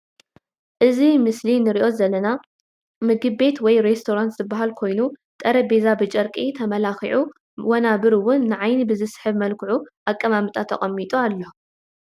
እዚ ብምስሊ እንሪኦ ዘለና ምግቤት ወይ ሬስቶራንት ዝበሃል ኮይኑ ጠረበዛ ብጨርቂ ተመላኪዑ ወናብር እዉን ንዓይኒ ብዝስሕብ መልክዑ ኣቀማምጣ ተቀሚጡ ኣሎ ።